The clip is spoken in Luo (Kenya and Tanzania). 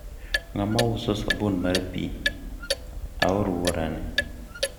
ng'a ma uso sabun mar pi e alwora ni?